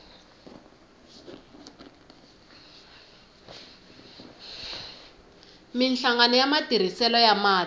minhlangano ya matirhiselo ya mati